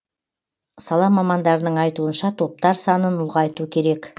сала мамандарының айтуынша топтар санын ұлғайту керек